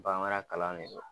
Bamara kalan me ye.